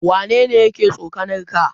Waya ne yake tsokanar ka?